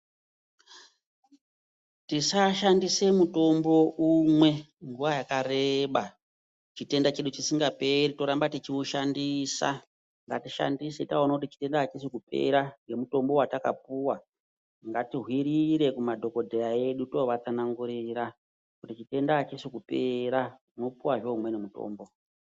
Tisashandise mutombo umwe nguwa yakareba chitenda chedu chisingaperi yoramba techiushandisa ngatiishandise taona kuti chitenda achisi kupera nemutombo watakapiwa ngatihwirire kumadhokodheya edu tovatsanangurira kuti chitenda achisi kupera unopuwa zvee umweni mutombo.